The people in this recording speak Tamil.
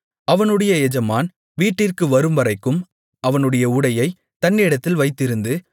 அவனுடைய எஜமான் வீட்டிற்கு வரும்வரைக்கும் அவனுடைய உடையைத் தன்னிடத்தில் வைத்திருந்து